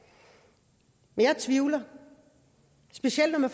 men jeg tvivler specielt når